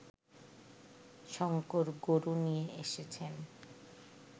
শংকর গরু নিয়ে এসেছেন